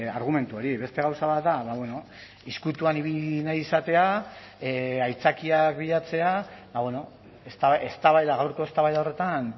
argumentu hori beste gauza bat da ezkutuan ibili nahi izatea aitzakiak bilatzea eztabaida gaurko eztabaida horretan